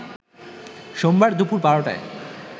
সোমবার দুপুর ১২টায়